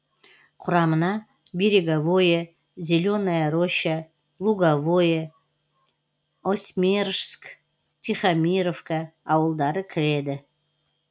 құрамына береговое зеленая роща луговое осьмерыжск тихомировка ауылдары кіреді